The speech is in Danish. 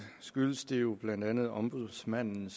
blandt andet af at ombudsmanden